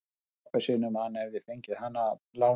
Hann sagði pabba sínum að hann hefði fengið hana að láni.